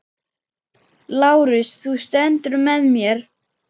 LÁRUS: Þú stendur með mér.